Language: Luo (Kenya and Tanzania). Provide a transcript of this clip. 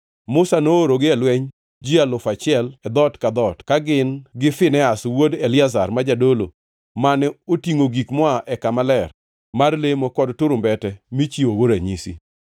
Musa noorogi e lweny ji alufu achiel (1,000) e dhoot ka dhoot, ka gin gi Finehas wuod Eliazar, ma jadolo, mane otingʼo gik moa ei kama ler mar lemo kod turumbete michiwogo ranyisi.